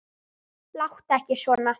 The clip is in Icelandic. Láttu ekki svona